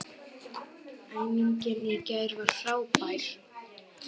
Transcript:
Æfingin í gær var frábær.